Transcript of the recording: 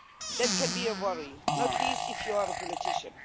That can be a worry not least if you are a politician.